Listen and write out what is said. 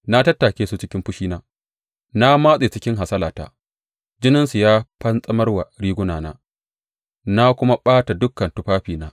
Na tattake su cikin fushina Na matse su cikin hasalata; jininsu ya fantsamar wa rigunana, na kuma ɓata dukan tufafina.